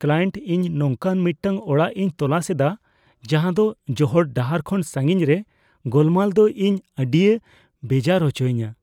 Client "ᱤᱧ ᱱᱚᱝᱠᱟᱱ ᱢᱤᱫᱴᱟᱝ ᱚᱲᱟᱜ ᱤᱧ ᱛᱚᱞᱟᱥ ᱮᱫᱟ ᱡᱟᱦᱟᱸᱫᱚ ᱡᱚᱦᱚᱲ ᱰᱟᱦᱟᱨ ᱠᱷᱚᱱ ᱥᱟᱹᱜᱤᱧ ᱨᱮ ᱼ ᱜᱳᱞᱢᱟᱞ ᱫᱚ ᱤᱧ ᱟᱹᱰᱤᱭ ᱵᱮᱡᱟᱨ ᱦᱚᱪᱚᱧᱟ ᱾"